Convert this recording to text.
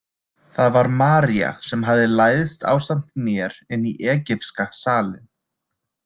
Það var María sem hafði læðst ásamt mér inn í egypska salinn.